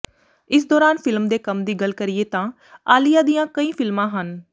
ਇਸ ਦੌਰਾਨ ਫਿਲਮ ਦੇ ਕੰਮ ਦੀ ਗੱਲ ਕਰੀਏ ਤਾਂ ਆਲੀਆ ਦੀਆਂ ਕਈ ਫਿਲਮਾਂ ਹਨ